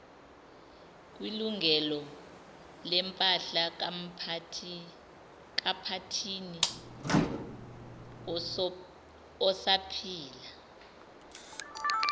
kwilungelolempahla kaphathini osaphila